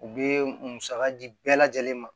U bɛ musaka di bɛɛ lajɛlen ma